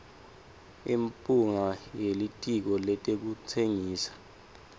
imphunga yelitiko letekutsengisa